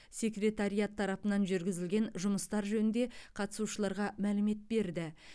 секретариат тарапынан жүргізілген жұмыстар жөнінде қатысушыларға мәлімет берді